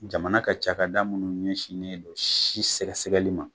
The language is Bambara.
Jamana ka cakada munnu ɲɛsinnen don si sɛgɛsɛgɛli ma